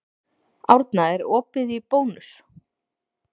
Árna, er opið í Bónus?